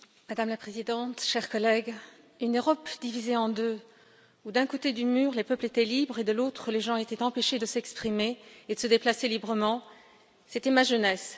Madame la Présidente, chers collègues, une Europe divisée en deux, où, d'un côté du mur, les peuples étaient libres et, de l'autre, les gens étaient empêchés de s'exprimer et de se déplacer librement, telle était ma jeunesse.